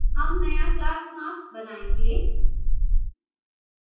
हम नया class marks बनायेंगे